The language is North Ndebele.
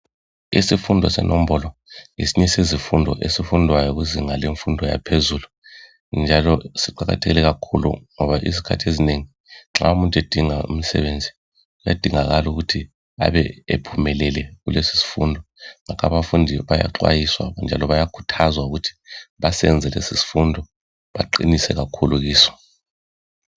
Isifundo senombolo ngesinye sezifundo esifundwayo kuzinga lemfundo yaphezulu njalo siqakatheke kakhulu ngoba izikhathi ezinengi nxa umuntu esinga umsebenzi kuayadingakala ukuthi ebe ephumelele kulesi sifundo ngakho abafundi bayakhuthazwa ukuthi basenze lesi sifundo baqinise kakhulu kiso.